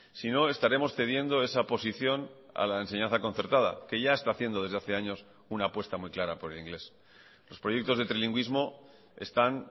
si no estaremos cediendo esa posición a la enseñanza concertada que ya está haciendo desde hace años una apuesta muy clara por el inglés los proyectos de trilingüismo están